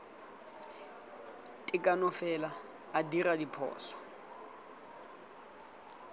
tekano fela a dira diphoso